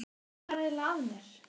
Já, hvað var eiginlega að mér?